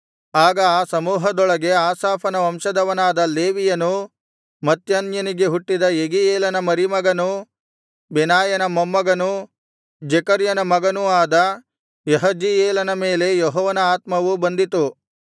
ಆಗ ಆ ಸಮೂಹದೊಳಗೆ ಆಸಾಫನ ವಂಶದವನಾದ ಲೇವಿಯನೂ ಮತ್ತನ್ಯನಿಗೆ ಹುಟ್ಟಿದ ಯೆಗೀಯೇಲನ ಮರಿಮಗನೂ ಬೆನಾಯನ ಮೊಮ್ಮಗನೂ ಜೆಕರ್ಯನ ಮಗನೂ ಆದ ಯಹಜೀಯೇಲನ ಮೇಲೆ ಯೆಹೋವನ ಆತ್ಮವು ಬಂದಿತು